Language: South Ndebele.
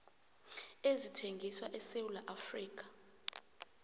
ezithengiswa esewula afrika